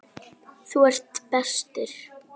Þú ert bestur.